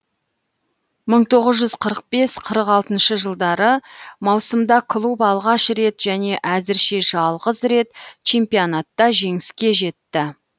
мың тоғыз жүз қырық бес қырық алтыншы жылдары маусымда клуб алғаш рет және әзірше жалғыз рет чемпионатта жеңіске жетті